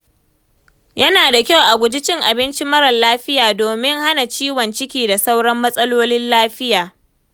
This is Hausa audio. Yana da kyau a guji cin abinci marar lafiya domin hana ciwon ciki da sauran matsalolin lafiya.